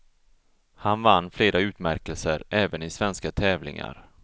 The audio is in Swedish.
Han vann flera utmärkelser även i svenska tävlingar.